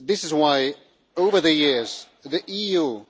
This is why, over the years, the EU